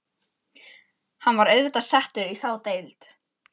Hann var auðvitað settur í þá deild.